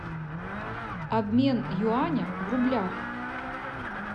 обмен юаня в рублях